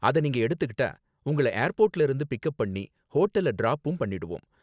அத நீங்க எடுத்துக்கிட்டா உங்கள ஏர்போர்ட்ல இருந்து பிக் அப் பண்ணி ஹோட்டல்ல டிராப்பும் பண்ணிடுவோம்